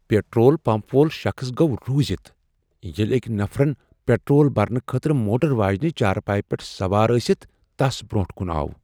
Petrol pump وول شخص گوٚو رُوزِتھ ییٚلہ أکۍ نفرن پٹرول برنہٕ خٲطرٕ موٹر واجنِہ چارپایِہ پیٹھ سوار ٲسِتھ تس برونٹھ کُن آو۔